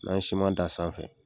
N'an ye da a sanfɛ